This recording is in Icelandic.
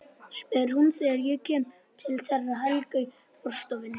spyr hún þegar ég kem til þeirra Helga í forstofunni.